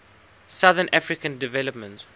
southern african development